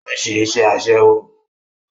Ó ń ṣe iṣẹ́ Aṣẹ́wó